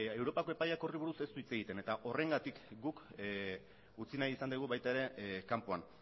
europako epaiak horri buruz ez du hitz egiten eta horrengatik guk utzi nahi izan dugu ere kanpoan